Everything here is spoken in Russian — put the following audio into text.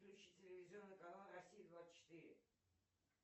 включи телевизионный канал россия двадцать четыре